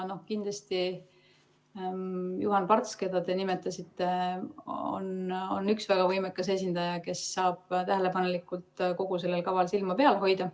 Kindlasti on Juhan Parts, keda te nimetasite, üks väga võimekas esindaja, kes saab tähelepanelikult kogu sellel kaval silma peal hoida.